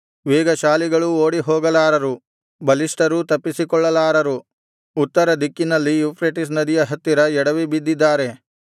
ವೇಗಶಾಲಿಗಳೂ ಓಡಿಹೋಗಲಾರರು ಬಲಿಷ್ಠರೂ ತಪ್ಪಿಸಿಕೊಳ್ಳಲಾರರು ಉತ್ತರ ದಿಕ್ಕಿನಲ್ಲಿ ಯೂಫ್ರೆಟಿಸ್ ನದಿಯ ಹತ್ತಿರ ಎಡವಿಬಿದ್ದಿದ್ದಾರೆ